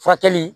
Furakɛli